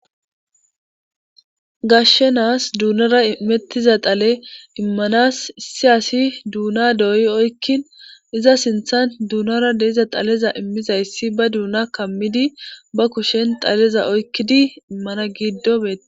Gashshenaas duunara mettiza xale immanas issi asi duuna dooyi oykkin iza sinthan duunara deiza xaleza immizayssi ba duuna kammidi ba kushen xaleza oykkidi immana giddo beete..